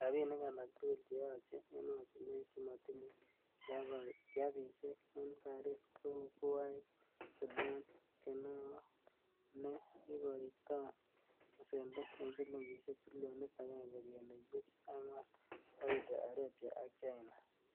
Rabinik alak tugul keyoche emotinwek chemotinye klabisiek en Paris, kou; Kuwait, Sudan konewo neikoiton besendo en silingisiek trilionit agenge kenuch buch angwan, Saudi arabia ak China.